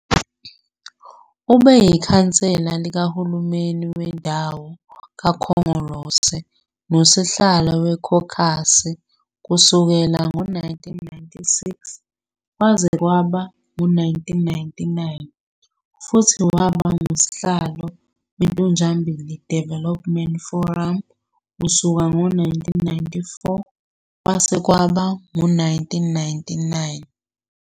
Ube yikhansela likaHulumeni Wendawo kaKhongolose nosihlalo wekhokhokhasi kusukela ngo-1996 kwaze kwaba ngu-1999 futhi waba ngusihlalo weNtunjambili Development Forum kusuka ngo-1994 kwaze kwaba ngu-1999.